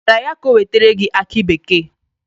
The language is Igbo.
Ị gwara ya ka o wetere gị aki bekee?